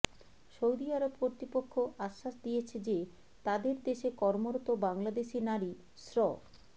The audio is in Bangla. সৌদি আরব কর্তৃপক্ষ আশ্বাস দিয়েছে যে তাদের দেশে কর্মরত বাংলাদেশি নারী শ্র